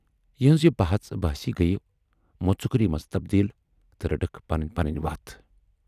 یِہٕنز یہِ بحث بحثی گٔیہِ مُژکری منز تبدیل تہٕ رٔٹٕکھ پنٕنۍ پنٕنۍ وَتھ۔